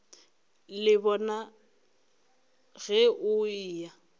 le bona ge o eya